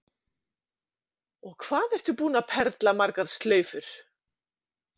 Og hvað ertu búin að perla margar slaufur?